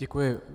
Děkuji.